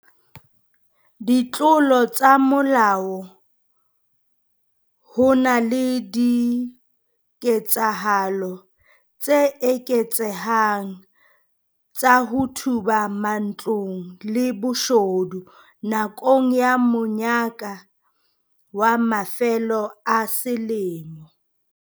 Ditlolo tsa molao Ho na le diketsahalo tse eketsehang tsa ho thuba matlong le boshodu nakong ya monyaka wa mafelo a selemo.